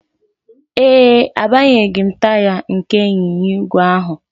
Ee e, agbanyeghị m taya nke ịnyịnya ígwè ahụ